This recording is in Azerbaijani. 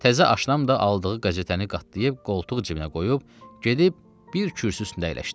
Təzə aşnam da aldığı qəzetəni qatlayıb qoltuq cibinə qoyub, gedib bir kürsü üstünə əyləşdi.